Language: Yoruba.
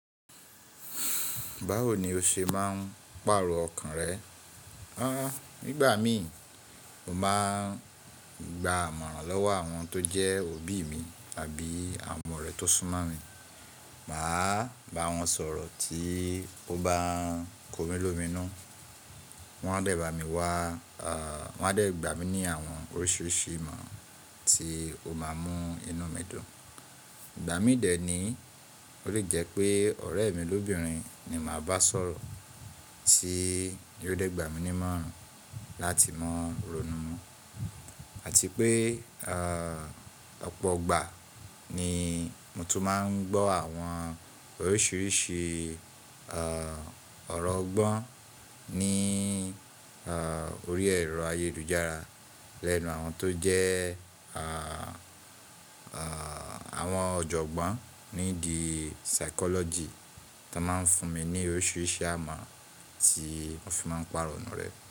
Báwo ni o ṣe máa ń pàrọ̀ ọkàn rẹ? Nígbà mi, mo máa ń gba àmọ̀ràn lọ́wọ́ àwọn tó jẹ́ òbí mi àbí àwọn ọrẹ̀ tó sún mọ́ mi. Mà á bá wọn sọ̀rọ̀ tí ó bá n komi lómi nù. Wọn á dẹ̀ bá mi wá, wọ́n á dẹ̀ gbà mí ní àwọn oríṣiríṣi ìmọ̀ran tí ó máa mú inú mi dùn. Ìgbà mí dẹ̀ ní, ó lè jẹ́ pé ọ̀rẹ́ mi lóbìnrin ni màá bá sọ̀rọ̀ tí yóò dé gbà mí ní imọ̀ràn láti mọ̀ rọ̀nu mọ́. Àti pé, ọ̀pọ̀ igbà ni mo tún máa ń gbọ́ àwọn oríṣiríṣi ọ̀rọ̀ ọgbọ́n ní orí ẹ̀rọ ayélujára lẹ́nu àwọn tó jẹ́ àwọn ọ̀jọ̀gbọ́n nídi psychology tan máa ń fún mi ní oríṣiríṣi amọ̀ran tí mo fi máa ń pà irọnu rẹ̀.